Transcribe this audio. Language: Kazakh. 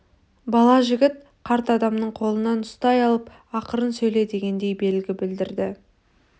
бала жігіт қарт адамның қолынан ұстай алып ақырын сөйле дегендей белгі білдірді